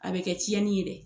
A be kɛ ciɲɛni ye dɛ